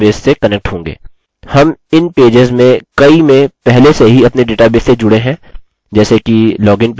हम इन पेजेस में कई में पहले से ही अपने डेटाबेस से जुड़े हैं जैसे कि लॉगिन पेज